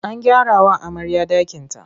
An gyarawa amarya ɗakinta.